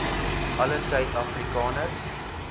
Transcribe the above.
alle suid afrikaners